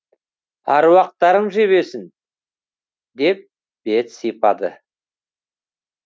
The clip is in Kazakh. аруақтарың жебесін деп бет сипады